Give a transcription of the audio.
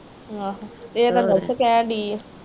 ਇਹ ਤਾ ਨਰਸ ਕਹਿਣ ਦੀ ਆ।